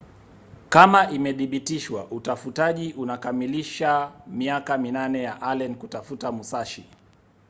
kama imedhibitishwa utafutaji unakamilisha miaka minane ya allen kutafuta musashi